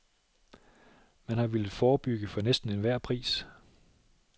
Man har villet forebygge for næsten enhver pris.